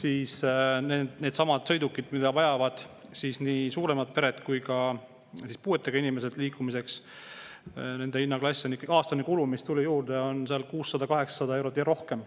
Aga nendesamade sõidukite puhul, mida vajavad suuremad pered ja puuetega inimesed liikumiseks, on aastane kulu, mis tuli juurde, 600–800 eurot ja rohkem.